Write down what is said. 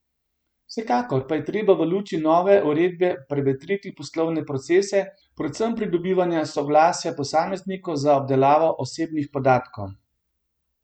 Vsekakor pa je treba v luči nove uredbe prevetriti poslovne procese, predvsem pridobivanja soglasja posameznikov za obdelavo osebnih podatkov.